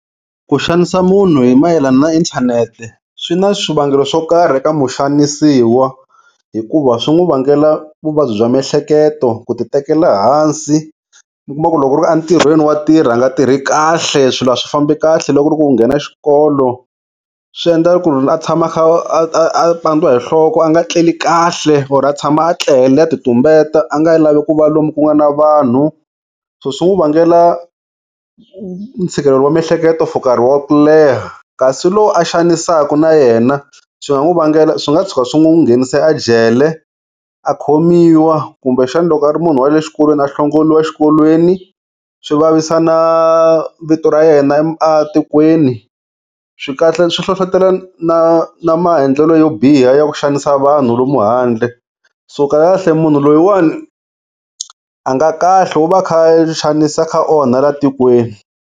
Ku xanisa munhu hi mayelana na inthanete, swi na swivangelo swo karhi eka muxanisiwa hikuva swi n'wu vangela vuvabyi bya miehleketo, ku ti tekela hansi, mi kuma ku loko ku ri a ntirhweni wa tirha a nga tirhi kahle, swilo a swi famba kahle loko ku ri ku u nghena xikolo, swi endla ku ri a tshama a kha a a a pandiwa hi nhloko a nga etleli kahle or a tshama a tlele a ti tumbeta a nga lavi ku va lomu ku nga na vanhu, so swi n'wu vangela ntshikelelo wa miehleketo for nkarhi wa ku leha. Kasi lo a xanisaku na yena swi nga n'wu vangela swi nga tshuka swi n'wu nghenise a jele a khomiwa kumbe xana loko a ri munhu wale xikolweni a hlongoriwa xikolweni, swi vavisa na vito ra yena a tikweni, swi kahle swi hlohlotelo na na maendlelo yo biha ya ku xanisa vanhu lomu handle, so kahlekahle munhu loyiwani a nga kahle u va a kha a xanisa a kha a onha la tikweni.